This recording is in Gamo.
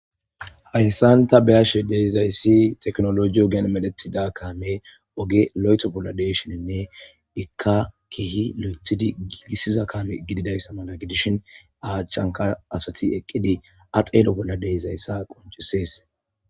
Haysan ta be'ashe dizays tekinoloje ogen medhetida kaame oge lo'etho bolla de'ishininne , Ika keeh lo'ethid gigisiza kaame gididaysa mala gidishn a achanka asat eqid a xelo bolla dizaysa qoncises.